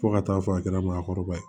Fo ka taa fɔ a kɛra maakɔrɔba ye